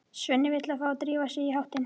Svenni vill að þeir drífi sig í háttinn.